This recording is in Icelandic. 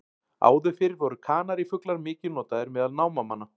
Áður fyrr voru kanarífuglar mikið notaðir meðal námamanna.